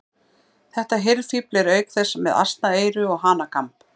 Þetta hirðfífl er auk þess með asnaeyru og hanakamb.